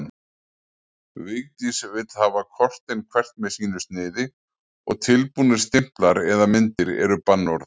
Vigdís vill hafa kortin hvert með sínu sniði og tilbúnir stimplar eða myndir eru bannorð.